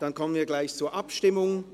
Dann kommen wir zur Abstimmung.